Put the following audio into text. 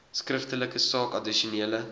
skriftelik saak addisionele